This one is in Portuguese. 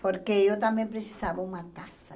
Porque eu também precisava uma casa.